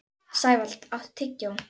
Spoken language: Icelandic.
Sævald, áttu tyggjó?